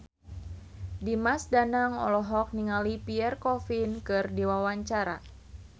Dimas Danang olohok ningali Pierre Coffin keur diwawancara